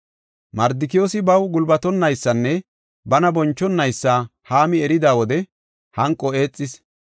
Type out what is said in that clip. Mardikiyoosi baw gulbatonaysanne bana bonchonaysa Haami erida wode hanqo eexis.